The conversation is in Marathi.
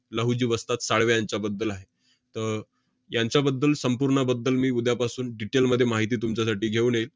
लहुजी वस्ताद साळवे यांच्याबद्दल आहे. त~ यांच्याबद्दल संपूर्ण बद्दल मी उद्यापासून detail मध्ये माहिती तुमच्यासाठी घेऊन येईन.